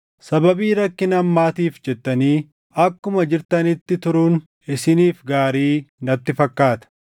Sababii rakkina ammaatiif jettanii akkuma jirtanitti turuun isiniif gaarii natti fakkaata.